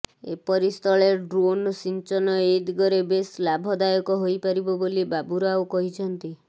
ଏପରିସ୍ଥଳେ ଡ୍ରୋନ ସିଞ୍ଚନ ଏ ଦିଗରେ ବେଶ୍ ଲାଭଦାୟକ ହୋଇପାରିବ ବୋଲି ବାବୁରାଓ କହିଛନ୍ତି